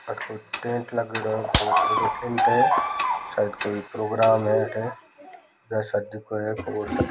अठे टेंट लागेडो हैं बहुत बड़ा टेंट है शायद कोई प्रोग्राम अठे या शादी कोई --